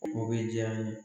O bɛ diya n ye.